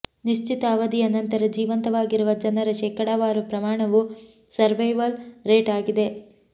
ನಿಶ್ಚಿತ ಅವಧಿಯ ನಂತರ ಜೀವಂತವಾಗಿರುವ ಜನರ ಶೇಕಡಾವಾರು ಪ್ರಮಾಣವು ಸರ್ವೈವಲ್ ರೇಟ್ ಆಗಿದೆ